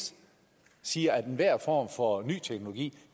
siger at enhver form for ny teknologi